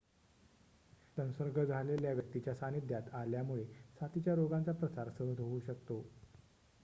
संसर्ग झालेल्या व्यक्तीच्या सान्निध्यात आल्यामुळे साथीच्या रोगांचा प्रसार सहज होऊ शकतो